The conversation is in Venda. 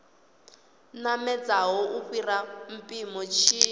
namedzaho u fhira mpimo tshi